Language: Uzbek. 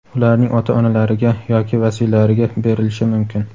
ularning ota-onalariga yoki vasiylariga berilishi mumkin.